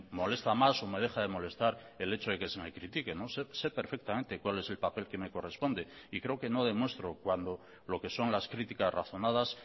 molesta más o me deja de molestar el hecho de que se me critique sé perfectamente cuál es el papel que me corresponde y creo que no demuestro cuando lo que son las criticas razonadas